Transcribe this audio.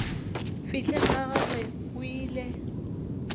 fihleng ga gagwe o ile